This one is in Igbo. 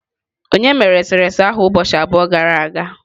Onye mere eserese ahụ ụbọchị abụọ gara aga?